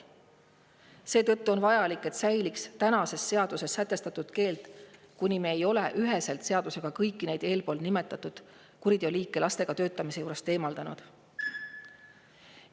Seetõttu on vajalik, et säiliks seaduses sätestatud keeld, kuni me ei ole kõiki neid eelnimetatud kuriteoliike seaduses üheselt sätestanud lastega töötamise juurest eemaldanud.